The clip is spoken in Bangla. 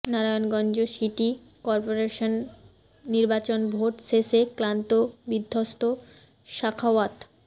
নারায়ণগঞ্জ সিটি করপোরেশন নির্বাচন ভোট শেষে ক্লান্ত বিধ্বস্ত সাখাওয়াত